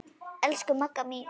Elsku Magga mín.